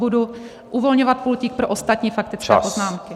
Budu uvolňovat pultík pro ostatní faktické poznámky.